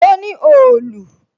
O ní òòlù